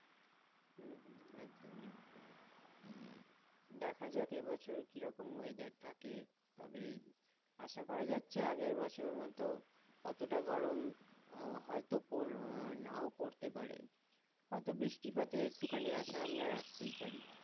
দেখা যাক এবছর কিরকম weather থাকে? তবে আশাকরা যাচ্ছে আগামি বছরের মত অতটা গরম, হয়তো পোড় আহ নাও পোড়তে পারে। হয়তো বৃষ্টিপাতের একটুখানি আশা আমরা রাখতেই পারি।